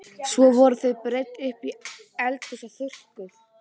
Svo voru þau breidd upp í eldhús og þurrkuð.